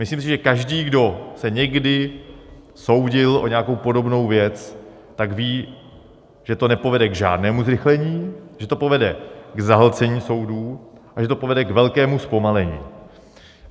Myslím si, že každý, kdo se někdy soudil o nějakou podobnou věc, tak ví, že to nepovede k žádnému zrychlení, že to povede k zahlcení soudů a že to povede k velkému zpomalení.